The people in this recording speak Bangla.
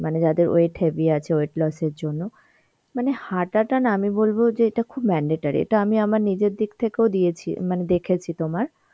মানে যাদের weight heavy আছে, weight loss এর জন্য মানে হাঁটাটা না আমি বলব যে এটা খুব mandatory. এটা আমি আমার নিজের দিক থেকেও দিয়েছি মানে দেখেছি তোমার